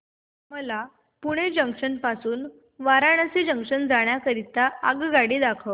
मला पुणे जंक्शन पासून वाराणसी जंक्शन जाण्या करीता आगगाडी दाखवा